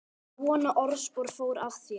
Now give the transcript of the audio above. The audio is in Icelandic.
Svona orðspor fór af þér.